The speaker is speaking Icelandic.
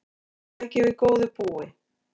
Hann tæki við góðu búi.